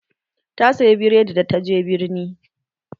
Ta saya biredi da ta je birni